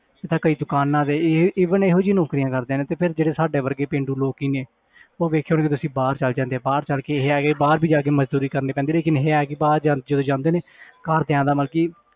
ਤੇ ਕਈ ਦੁਕਾਨਾਂ ਤੇ ਇਹ even ਇਹੋ ਜਿਹੀ ਨੌਕਰੀਆਂ ਕਰਦੇ ਨੇ ਤੇ ਫਿਰ ਜਿਹੜੇ ਸਾਡੇ ਵਰਗੇ ਪੇਂਡੂ ਲੋਕ ਹੀ ਨੇ ਉਹ ਵੇਖਿਆ ਹੋਣਾ ਤੁਸੀਂ ਬਾਹਰ ਚਲੇ ਜਾਂਦੇ ਆ ਬਾਹਰ ਚੱਲ ਕੇ ਇਹ ਹੈ ਕਿ ਬਾਹਰ ਵੀ ਜਾ ਕੇ ਮਜ਼ਦੂਰੀ ਕਰਨੀ ਪੈਂਦੀ ਲੇਕਿੰਨ ਇਹ ਹੈ ਕਿ ਬਾਹਰ ਜਾ ਜਦੋਂ ਜਾਂਦੇ ਨੇ ਘਰਦਿਆਂ ਦਾ ਮਤਲਬ ਕਿ